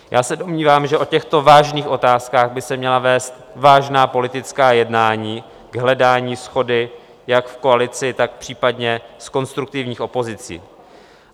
Já se domnívám, že o těchto vážných otázkách by se měla vést vážná politická jednání k hledání shody jak v koalici, tak případně s konstruktivní opozicí.